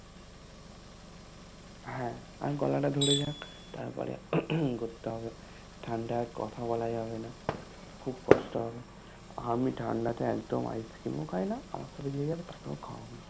হ্যা আর গলা টা ধোরে যাক তার পড়ে কোরতে হবে, ঠান্ডায় আর কথা বলা যাবে না খুব কষ্ট হবে আমি ঠান্ডাতে একদম Ice-Cream ও খাই না আমার সাথে যে যাবে তাকেও খাওয়াবো